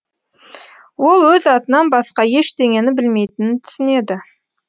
ол өз атынан басқа ештеңені білмейтінін түсінеді